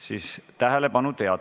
Siis – tähelepanu!